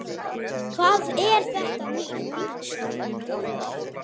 En drykkju